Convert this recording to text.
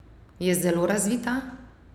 Je zelo razvita!